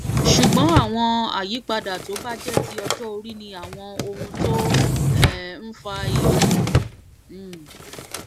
ṣùgbọn àwọn àyípadà tó bá jẹ ti ọjọ orí ni àwọn ohun tó um ń fa ìyókù um